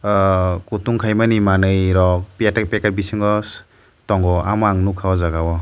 ahh kutung khaimani manei rok tei packet bisingo tongo omo ang nugkka aw jaaga o.